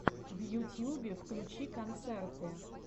в ютьюбе включи концерты